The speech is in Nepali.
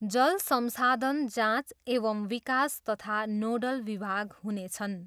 जल संसाधन जाँच एवम् विकास तथा नोडल विभाग हुनेछन्।